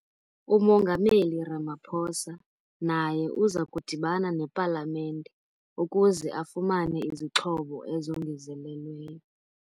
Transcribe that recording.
UMongameli Ramaphosa naye uza kudibana nePalamente ukuze afumane izixhobo ezongezelelweyo.